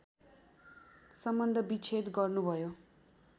सम्बन्धविच्छेद गर्नुभयो